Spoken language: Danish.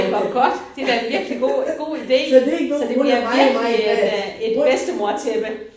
Ej hvor godt! Det er da virkelig god god idé. Så det bliver virkelig et øh et bedstemortæppe